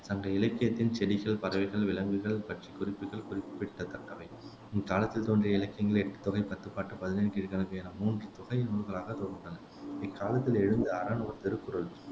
சங்க இலக்கியத்தில் செடிகள், பறவைகள், விலங்குகள் பற்றிய குறிப்புகள் குறிப்பிடத்தக்கவை இக்காலத்தில் தோன்றிய இலக்கியங்கள் எட்டுத்தொகை, பத்துப்பாட்டு, பதினெண் கீழ்க்கணக்கு என மூன்று தொகை நூல்களாகத் தொகுத்துள்ளன இக்காலத்தில் எழுதிய அறநூல் திருக்குறள்